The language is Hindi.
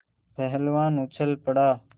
पहलवान उछल पड़ा